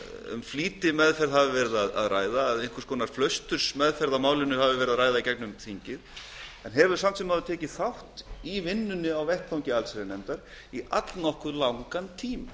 um flýtimeðferð hafi verið að ræða flausturslega meðferð í gegnum þingið flokkurinn hefur hins vegar tekið þátt í vinnunni á vettvangi allsherjarnefndar í allnokkuð langan tíma